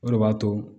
O de b'a to